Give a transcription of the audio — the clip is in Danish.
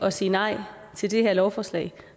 at sige nej til det her lovforslag